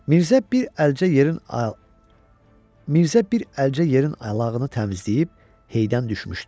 Mirzə bir əlcə yerin alağını təmizləyib heydən düşmüşdü.